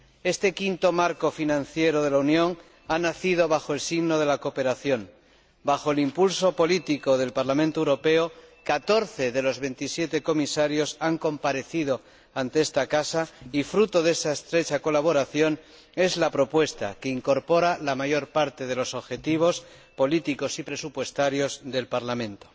Este quinto marco financiero de la Unión ha nacido bajo el signo de la cooperación. Bajo el impuso político del Parlamento Europeo, 14 de los 27 Comisarios han comparecido ante esta Cámara y fruto de esa estrecha colaboración es la propuesta, que incorpora la mayor parte de los objetivos, políticos y presupuestarios del Parlamento.